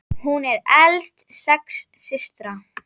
Hún var elst sex systra.